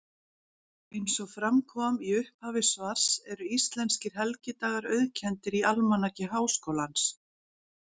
Eins og fram kom í upphafi svars eru íslenskir helgidagar auðkenndir í Almanaki Háskólans.